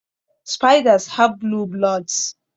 Spiders have blue bloods